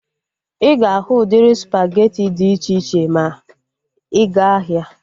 Ịga ahu udiri spageti dị iche iche ma ịga ahia